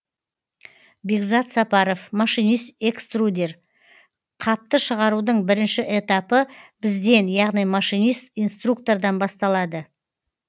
бекзат сапаров машинист экструдер қапты шығарудың бірінші этапы бізден яғни машинист инструктордан басталады